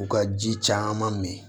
U ka ji caman min